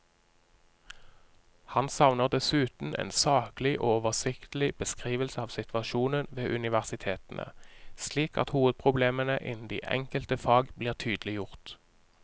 Han savner dessuten en saklig og oversiktlig beskrivelse av situasjonen ved universitetene, slik at hovedproblemene innen de enkelte fag blir tydeliggjort.